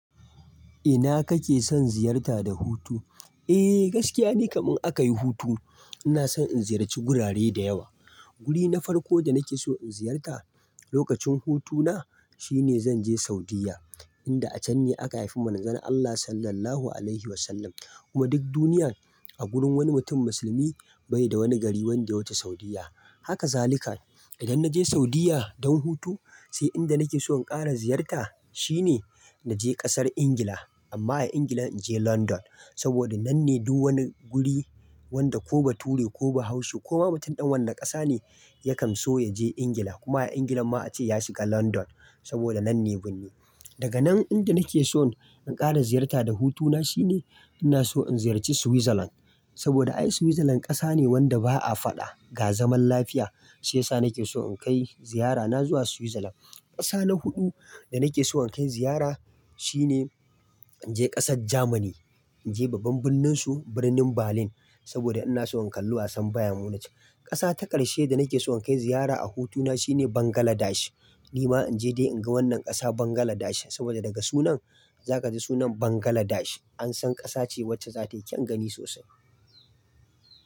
Ina kake son ziyarta da hutu? Eh, gaskiya ne kamin aka yi hutu ina son in ziyarci gurare da yawa. Guri na farko da nake so in ziyarta lokacin hutuna shine zan je Saudiyya, inda a can ne aka haifi manzon Allah Sallallahu Alaihi Wasallam. Kuma duk duniya a gurin wani mutum musulmi bai da wani gari wande ya wuce Saudiyya. Haka zalika. Idan na je Saudiyya don hutu sai inda nake so in ƙara ziyarta shine na je ƙasar Ingila. Amma a Ingila in je London saboda nan ne duk wani guri wanda ko ba Ture ko bahaushe ko ma mutum ɗan wanne ƙasa ne ya kam so ya je Ingila kuma a Ingila ma a ce ya shiga London saboda nan ne birni. Daga nan ingila nake son in ƙara ziyarta da hutuna shine ina so in ziyarci Switzerland saboda ai Switzerland ƙasa ne wanda ba a faɗa, ga zaman lafiya. Shi yasa nake so in kai ziyarana zuwa Switzerland. Ƙasa na huɗu da nake so in kai ziyara shine in je ƙasar Jamani, in je babban birnin su Birnin Berlin saboda ina so in kalli wasan Bayern Munich. Ƙasa ta ƙarshe da nake so in kai ziyara a hutuna shine Bangladesh. Ni ma in je dai in ga wannan ƙasa Bangladesh saboda daga sunan za ka ji sunan Bangladesh an san ƙasa ce wacce za ta yi kyan gani sosai.